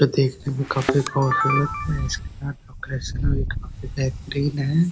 ये देखने में काफी खूबसूरत है इसका भी काफी बेहतरीन है।